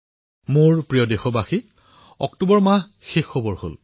মোৰ মৰমৰ দেশবাসীসকল অক্টোবৰ মাহটো সমাপ্তিৰ পথত